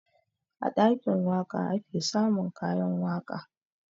A ɗakin waƙa ake samun kayan waƙa